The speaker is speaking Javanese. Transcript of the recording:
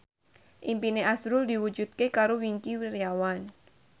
impine azrul diwujudke karo Wingky Wiryawan